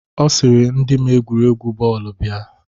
Ọ sịrị ndị ma egwuregwu bọọlụ bịa.